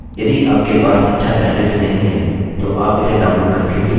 यदि आपके पास अच्छा bandwidth नहीं है तो आप इसे download करके भी देख सकते हैं